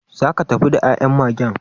Zaka tafi da ya'yan Magen?